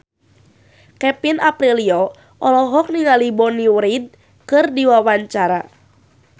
Kevin Aprilio olohok ningali Bonnie Wright keur diwawancara